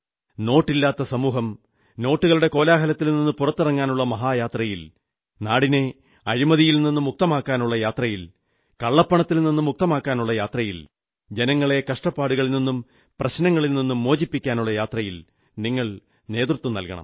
നോട്ടില്ലാത്ത സമൂഹം നോട്ടുകളുടെ കോലാഹലത്തിൽ നിന്ന് പുറത്തിറങ്ങാനുള്ള മഹായാത്രയിൽ നാടിനെ അഴിമതിയിൽ നിന്നു മുക്തമാക്കാനുള്ള യാത്രയിൽ കള്ളപ്പണത്തിൽ നിന്നു മുക്തമാക്കാനുള്ള യാത്രയിൽ ജനങ്ങളെ കഷ്ടപ്പാടുകളിൽ നിന്നും പ്രശ്നങ്ങളിൽ നിന്നും മോചിപ്പിക്കാനുള്ള യാത്രയിൽ നിങ്ങൾ നേതൃത്വം നല്കണം